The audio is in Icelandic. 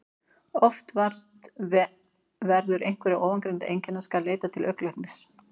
Ef vart verður einhverra ofangreindra einkenna skal leita til augnlæknis.